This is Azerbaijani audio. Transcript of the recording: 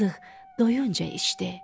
Yazıq doyunca içdi.